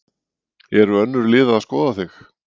Eru önnur lið að skoða þig?